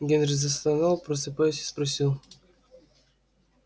генри застонал просыпаясь и спросил